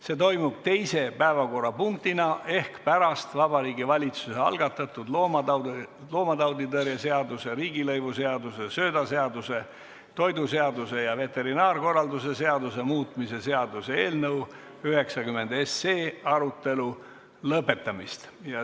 See toimub teise päevakorrapunktina ehk pärast Vabariigi Valitsuse algatatud loomatauditõrje seaduse, riigilõivuseaduse, söödaseaduse, toiduseaduse ja veterinaarkorralduse seaduse muutmise seaduse eelnõu 90 arutelu lõpetamist.